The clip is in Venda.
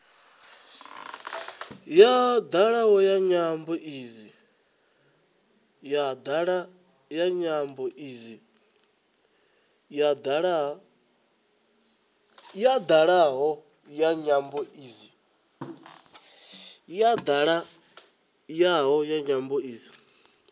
ya dalaho ya nyambo idzi